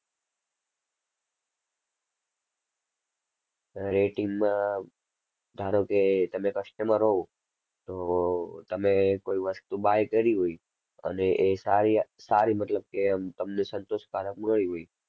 Rating માં ધારો કે તમે customer હોવ, તો તમે કોઈ વસ્તુ buy કરી હોય અને એ સારી સારી મતલબ કે આમ તમને સંતોષકારક હોય